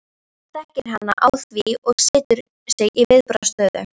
Hann þekkir hana að því og setur sig í viðbragðsstöðu.